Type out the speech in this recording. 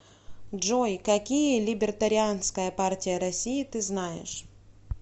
джой какие либертарианская партия россии ты знаешь